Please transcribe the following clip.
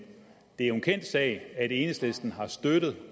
det er jo en kendt sag at enhedslisten har støttet